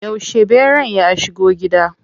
Yauce ɓeran ya shigo gida?